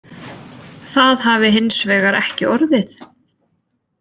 Það hafi hins vegar ekki orðið